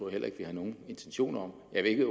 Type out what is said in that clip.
heller ikke vi har nogen intentioner om jeg ved ikke